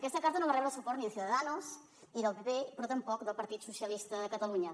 aquesta carta no va rebre el suport ni de ciudadanos ni del pp però tampoc del partit socialista de catalunya